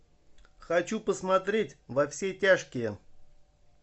хочу посмотреть во все тяжкие